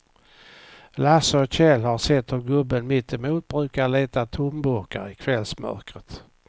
Lasse och Kjell har sett hur gubben mittemot brukar leta tomburkar i kvällsmörkret.